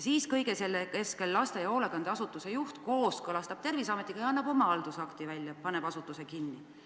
Siis kõige selle keskel laste- või hoolekandeasutuse juht kooskõlastab Terviseametiga ja annab oma haldusakti välja, paneb asutuse kinni.